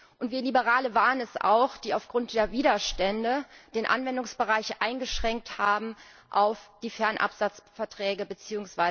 Und wir Liberale waren es auch, die aufgrund der Widerstände den Anwendungsbereich eingeschränkt haben auf die Fernabsatzverträge bzw.